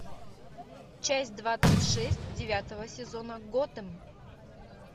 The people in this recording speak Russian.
часть двадцать шесть девятого сезона готэм